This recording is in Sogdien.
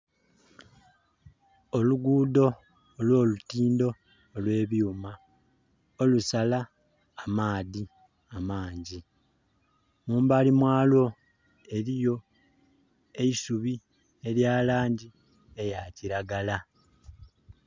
Olugudho olw'olutindho olw'ebyuma olusala amaadhi amangi, mu mbali mwalwo eriyo eisubi erya langi eya kiragala